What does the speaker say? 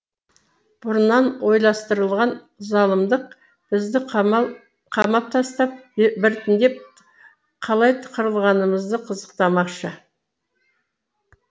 бұрыннан ойластырылған залымдық бізді қамал қамап тастап біртіндеп қалай қырылғанымызды қызықтамақшы